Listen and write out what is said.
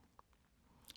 DR2